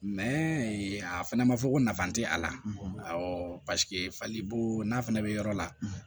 a fɛnɛ ma fɔ ko nafa te a la paseke fali boo n'a fɛnɛ bɛ yɔrɔ la